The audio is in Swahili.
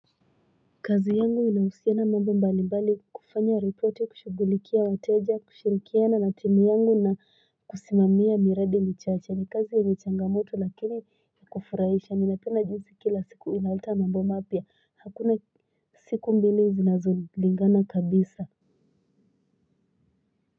Kazi yangu inahusiana mambo mbali mbali kufanya reporti kushugulikia wateja kushirikiana na timu yangu na kusimamia miradi michache ni kazi yenye changamoto lakini ya kufurahisha ninapenda jinsi kila siku inaleta mambo mapya hakuna siku mbili zinazo lingana kabisa.